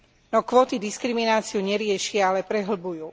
No kvóty diskrimináciu neriešia, ale prehlbujú.